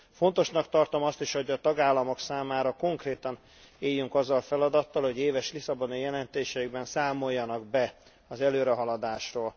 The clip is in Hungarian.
Fontosnak tartom azt is, hogy a tagállamok számára konkrétan éljünk azzal a feladattal, hogy éves lisszaboni jelentéseikben számoljanak be az előrehaladásról.